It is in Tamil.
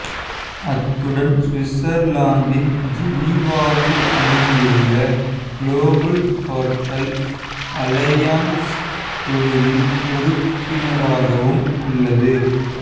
அத்துடன் சுவிட்சர்லாந்தின் ஜெனிவாவில் அமைந்துள்ள குளோபல் ஹோட்டல் அலையன்ஸ் குழுவின் உறுப்பினராகவும் உள்ளது